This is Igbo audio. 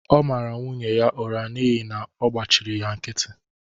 Ọ mara nwunye ya ụra n’ihi na ọ gbachịrị ya nkịtị